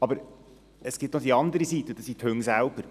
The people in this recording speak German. Aber es gibt auch die andere Seite, und das sind die Hunde selbst.